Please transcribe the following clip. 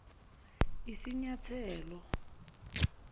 isinyathelo